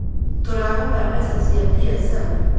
Tũrahotha mbeca cia biacara